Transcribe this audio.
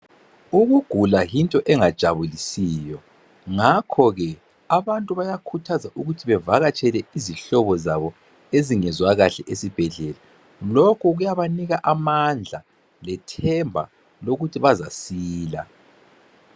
Ukugula yinto engajabulisiyo ngakhoke abantu bayakhuthazwa ukuthi bevakatshele izihlobo zabo ezingezwa kahle esibhedlela lokho kuyabanika amandla lethemba lokuthi bazasila.